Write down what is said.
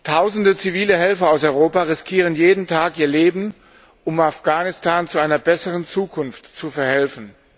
Tausende zivile Helfer aus Europa riskieren jeden Tag ihr Leben, um Afghanistan zu einer besseren Zukunft zu verhelfen.